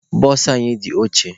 Bụsụ anyị dị ochie.